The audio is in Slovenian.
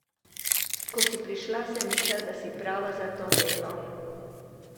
Ko si prišla, sem mislila, da si prava za to delo.